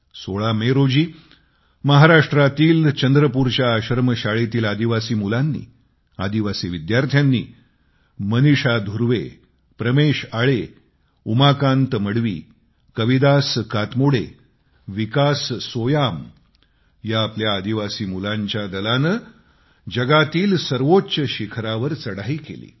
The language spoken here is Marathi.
16 मे रोजी महाराष्ट्रातील चंद्रपूरच्या आश्रमशाळेतील आदिवासी मुलांनी आदिवासी विद्यार्थ्यांनी मनीषा धुर्वे प्रमेश आळे उमाकांत मडवी कवीदास कातमोडे विकास सोयाम या आपल्या आदिवासी मुलांच्या दलाने जगातील सर्वोच्च शिखरावर चढाई केली